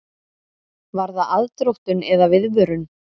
Var það aðdróttun eða viðvörun?